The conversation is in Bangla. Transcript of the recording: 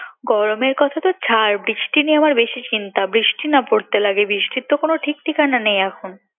গরমের কথা তো ছাড় বৃষ্টি নিয়ে আমার বেশি চিন্তা বৃষ্টি নিয়ে আমার বেশি চিন্তা বৃষ্টি না পড়তে লাগে